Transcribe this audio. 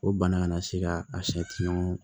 O bana kana se ka a sɛ ɲɔgɔn